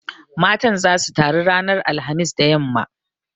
Matan zasu taru ranar alhamis da yamma.